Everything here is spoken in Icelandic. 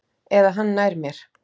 Eða hann nær mér.